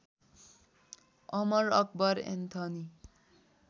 Amar Akbar Anthony